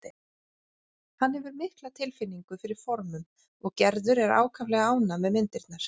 Hann hefur mikla tilfinningu fyrir formum og Gerður er ákaflega ánægð með myndirnar.